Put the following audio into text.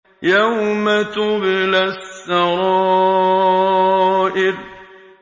يَوْمَ تُبْلَى السَّرَائِرُ